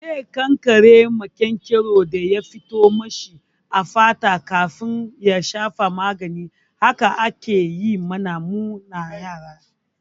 Zai kankare maƙyanƙyaron da ya fito mashi a fata kafin ya shafa magani. Haka aka yi mana mu na yara.